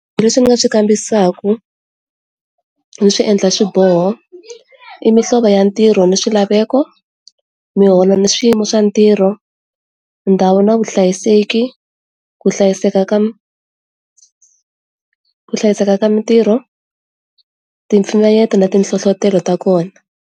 Leswi ni nga swi kambisisaku ndzi swi endla swiboho i mihlovo ya ntirho ni swilaveko, miholo ni swiyimo swa ntirho, ndhawu na vuhlayiseki ku hlayiseka ka ku hlayiseka ka mintirho, ti mpimanyeto na ti nhlohlotelo ta kona.